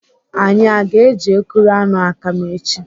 Anyị aga eji ekuru aṅụ akam echi?